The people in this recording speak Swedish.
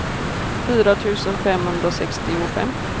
fyra tusen femhundrasextiofem